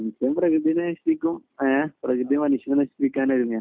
ഇപ്പം പ്രകൃതി നശിപ്പിക്കും പ്രകൃതി മനുഷ്യനെ നശിപ്പിക്കാൻ ഒരുങ്ങുകയാ